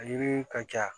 Ɲininiw ka ca